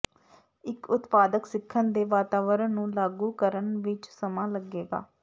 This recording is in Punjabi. ਇੱਕ ਉਤਪਾਦਕ ਸਿੱਖਣ ਦੇ ਵਾਤਾਵਰਨ ਨੂੰ ਲਾਗੂ ਕਰਨ ਵਿੱਚ ਸਮਾਂ ਲੱਗੇਗਾ